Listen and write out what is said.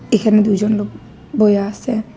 এইখানে দুইজন লোক বইয়া আসে।